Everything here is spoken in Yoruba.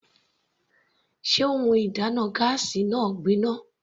Sé ohun ìdáná gáásì náà gbin ná?